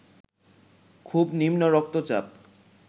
খুব নিম্ন রক্তচাপ